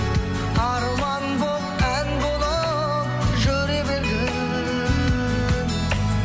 арман болып ән болып жүре бергін